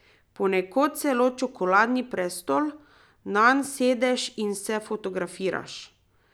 Ponekod celo čokoladni prestol, nanj sedeš in se fotografiraš.